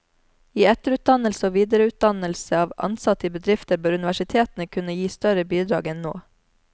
I etterutdannelse og videreutdannelse av ansatte i bedrifter bør universitetene kunne gi større bidrag enn nå.